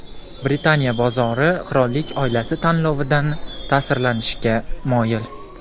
Britaniya bozori qirollik oilasi tanlovidan ta’sirlanishga moyil.